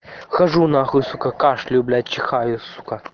хожу на хуй сука кашляю чихаю сука